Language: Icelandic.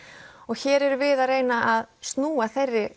hér erum við að reyna að snúa þeirri